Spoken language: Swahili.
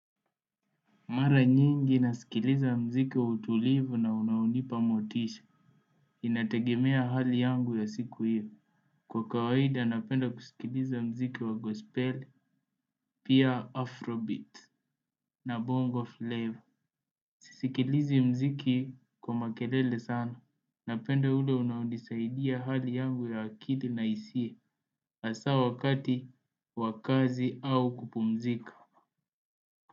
Mara nyingi nasikiliza mziki wa utulivu na unaonipa motisha. Inategemea hali yangu ya siku hiyo. Kwa kawaida napenda kusikiliza mziki wa gospel pia afrobeat na bongo flava. Si sikilizi mziki kwa makelele sana napenda ule unaonisaidia hali yangu ya akili na hisia asa wakati wa kazi au kupumzika.